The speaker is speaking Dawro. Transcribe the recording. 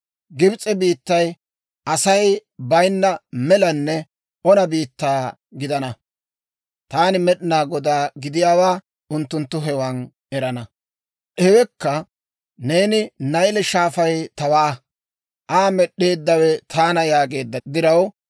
Gibs'e biittay Asay bayinna melanne ona biittaa gidana. Taani Med'inaa Godaa gidiyaawaa unttunttu hewan erana. «‹ «Hewekka neeni, Nayle Shaafay tawaa; Aa med'd'eeddawe taana yaageedda diraw,